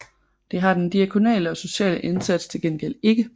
Det har den diakonale og sociale indsats til gengæld ikke